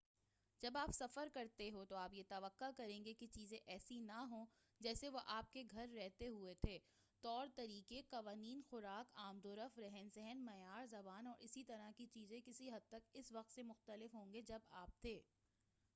جب آپ سفر کرتے ہو تو آپ یہ توقع کریں کہ چیزیں ایسی نہ ہوں جیسے وہ آپ کے گھر رہتے ہوئے تھے طور و طریقے قوانین خوراک آمد و رفت رہن سہن معیار زبان اور اسی طرح کی چیزیں کسی حد تک اس وقت سے مختلف ہو نگے جب آپ تھے